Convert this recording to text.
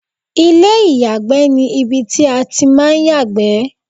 ilé ìyàgbẹ́ ni ibi tí a ti ń máà ń yàgbẹ́